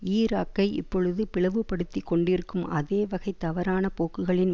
ஈராக்கை இப்பொழுது பிளவுபடுத்திக் கொண்டிருக்கும் அதே வகை தவறான போக்குகளின்